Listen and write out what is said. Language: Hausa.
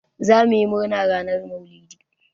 Zamuyi murna ranar Maulidi.